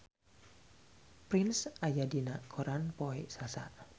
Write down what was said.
Prince aya dina koran poe Salasa